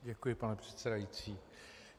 Děkuji, pane předsedající.